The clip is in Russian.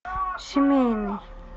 семейный